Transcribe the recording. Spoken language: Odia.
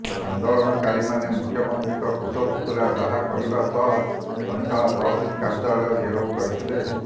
ଆନ୍ଦୋଳନକାରୀମାନେ ମୁଖ୍ୟମନ୍ତ୍ରୀଙ୍କ କୁଶପୁତ୍ତଳିକା ଦାହ କରିବା ସହ ସଇଁତଳା ତହସିଲ କାର୍ଯ୍ୟାଳୟ ଘେରାଉ କରିଥିଲେ